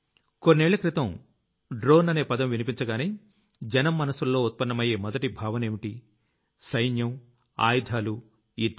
కొన్నేళ్ల క్రితం డ్రోన్ అనే పదం వినిపించగానే జనం మనసుల్లో ఉత్పన్నమయ్యే మొదటి భావనేంటి సైన్యం ఆయుధాలు యుద్ధం